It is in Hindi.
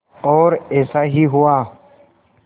और ऐसा ही हुआ